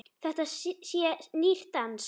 Þetta sé nýr dans.